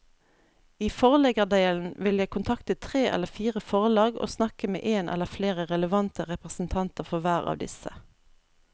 I forleggerdelen vil jeg kontakte tre eller fire forlag og snakke med en eller flere relevante representanter for hver av disse.